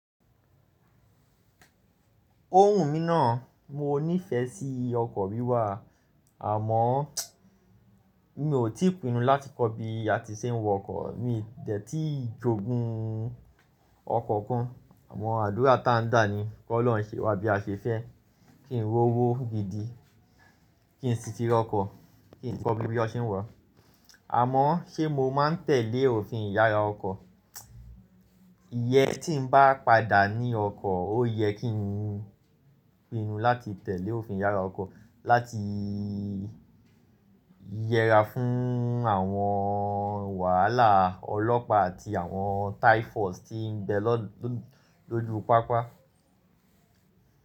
Ó wù mí ná. Mo nífẹ̀ẹ́ sí ọkọ̀ wíwà àmọ́ mi ò tí pinnu láti kọ́ bí a ti ṣe ń wọkọ̀. Mi dẹ̀ tí ì jogun ọkọ̀ kan àmọ́ àdúrà ta ń gbà ni kí Ọlọ́run ṣe wá bí a ṣe fẹ́ kí n rówó gidi, kí n ti fi ra ọkọ̀, kí n kọ́ bí bí wọn ṣe n wa. Àmọ́ ṣé mo máa n tẹ̀lé òfin ìyára ọkọ̀? Iyẹ́n tí n bá padà ní ọkọ̀ ó yẹ kí n pinnu láti tẹ̀lé òfin ìyára ọkọ̀ láti yẹra fún àwọn wàhálà ọlọ́pàá àti àwọn typhus tí ń bẹ ló jù papa.